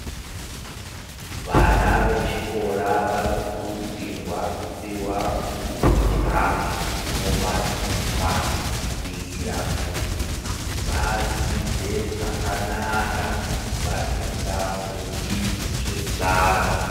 Vana vechikora vanokurudzirwa kupiwa kudya kunopa simba ,kuitira kuti vadzidze zvakanaka vasingafungi zvenzara.